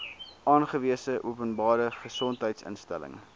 aangewese openbare gesondheidsinstelling